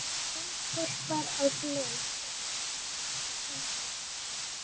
Ljónshvolpar að leik.